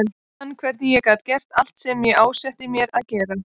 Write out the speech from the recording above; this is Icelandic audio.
Ég fann hvernig ég gat gert allt sem ég ásetti mér að gera.